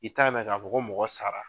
I' ta mɛn ka fɔko mɔgɔ sara.